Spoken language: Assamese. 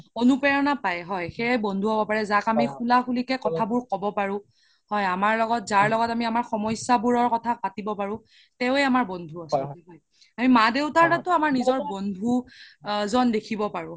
প্ৰৰণা পাই হয় সেয়াই বন্ধু হ্'ব পাৰে যাক আমি খুলা খোলি কে কথা বোৰ ক্'ব পাৰো হয় আমাৰ লগত যাৰ লগত আমি আমাৰ সমাস্যা বোৰৰ কথা পাতিব পাৰো তেৱে আমাৰ বন্ধু আচল্তে আমি মা দেউতাৰ লগতও আমাৰ নিজৰ বন্ধু এজন দেখিব পাৰো